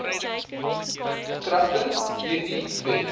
kragtens hierdie wet